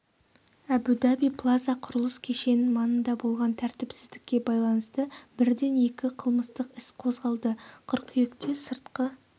әбу-даби плаза құрылыс кешенінің маңында болған тәртіпсіздікке байланысты бірден екі қылмыстық іс қозғалды қыркүйекте сыртқы